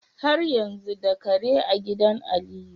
Har yanzu da Kare a gidan Aliyu?